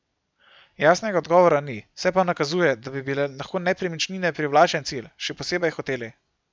Jasnega odgovora ni, se pa nakazuje, da bi bile lahko nepremičnine privlačen cilj, še posebej hoteli.